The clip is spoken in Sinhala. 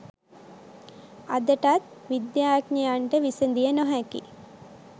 අදටත් විද්‍යාඥයන්ට විසඳිය නොහැකි